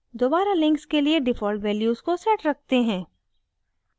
दोबारा links के लिए default values को set रखते हैं